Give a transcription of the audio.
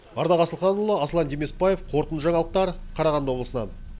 ардақ асылханұлы аслан демесбаев қорытынды жаңалықтар қарағанды облысынан